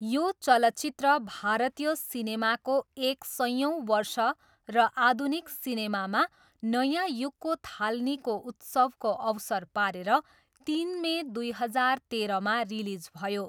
यो चलचित्र भारतीय सिनेमाको एक सयौँ वर्ष र आधुनिक सिनेमामा नयाँ युगको थालनीको उत्सवको अवसर पारेर तिन मे दुई हजार तेरहमा रिलिज भयो।